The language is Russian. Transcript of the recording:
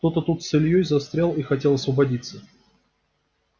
кто-то тут с ильёй застрял и хотел освободиться